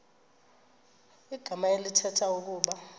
igama elithetha ukuba